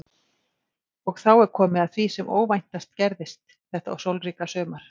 Og er þá komið að því sem óvæntast gerðist þetta sólríka sumar.